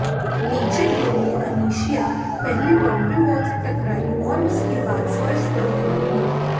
नीचे गिरी अनिशिया पहले बाउंड्री वॉल से टकराई और उसके बाद फर्श पर गिर पड़ी